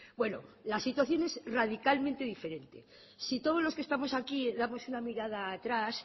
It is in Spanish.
bueno la situación es radicalmente diferente si todos los que estamos aquí damos una mirada atrás